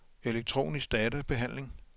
elektronisk databehandling